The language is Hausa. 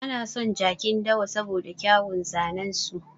Ana son jakin dawa saboda kyauwun zanen su.